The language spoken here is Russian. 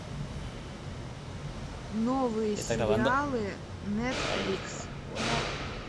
новые сериалы нетфликс